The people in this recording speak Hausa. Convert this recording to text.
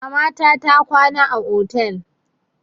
Mamata ta kwana a otel.